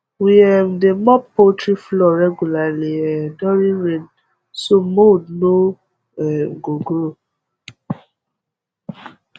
we um dey mop poultry floor regularly um during rain so mould no um go grow